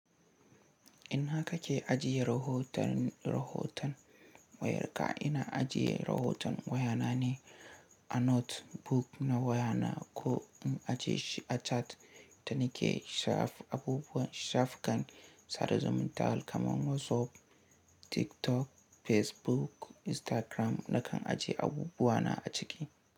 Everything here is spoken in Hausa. Ina kake ajiye rahoton, rahoton wayar ka, ina ajiye rahoton wayana ne a notebook na wayana ko in ajiye shi a chat da nike shaf abubuwan shafukan sada zumuntar kamar WhatsApp, TikTok, Facebook, Instagram na kan ajiye abubuwana a ciki.